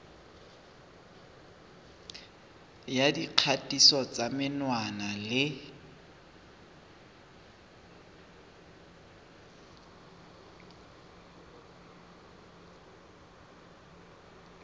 ya dikgatiso tsa menwana le